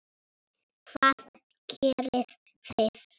Hvað gerið þið?